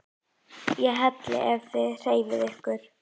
ÉG HELLI EF ÞIÐ HREYFIÐ YKKUR!